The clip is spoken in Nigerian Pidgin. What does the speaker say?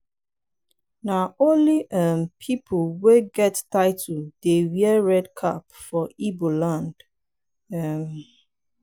na only um pipu wey get title dey wey red cap for igbo land. um